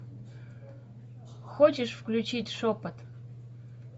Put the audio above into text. хочешь включить шепот